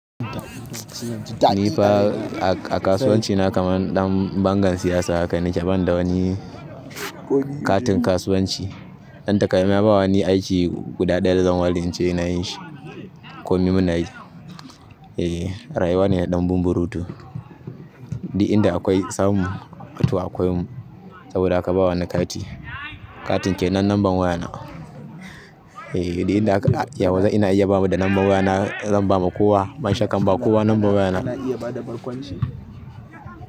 Ni fa a kasuwanci na kamar dan bangar siyasa haka nake, ban da wani katin kasuwanci. Dan takamaimai ma ba wani aiki guda ɗaya zan ware nace ina yin shi komi muna yi. E, rayuwa ne na ɗan bumburuto. Duk inda da akwai samu, to akwai mu. Saboda haka ba wa ni kati, katin ke nan lambar wayana. E, duk inda aka iya waze ina iya ba mu da lambar wayana zan ba ma kowa. Ban shakka ban ba kowa lambar wayana.